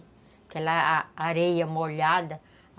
Aquela areia molhada.